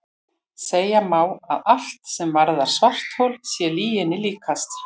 Segja má að allt sem varðar svarthol sé lyginni líkast.